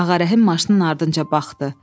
Ağa Rəhim maşının ardınca baxdı.